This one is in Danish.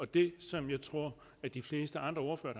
det som jeg tror de fleste andre ordførere